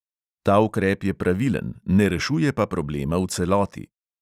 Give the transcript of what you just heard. Ta ukrep je pravilen, ne rešuje pa problema v celoti.